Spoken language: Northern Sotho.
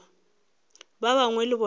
ba bangwe le bona ba